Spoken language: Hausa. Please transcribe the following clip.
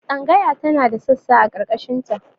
Tsangaya tana da sassa a ƙarkashin ta